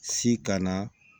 Si kana